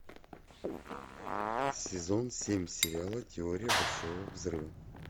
сезон семь сериала теория большого взрыва